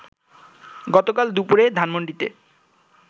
গতকাল দুপুরে ধানমন্ডিতে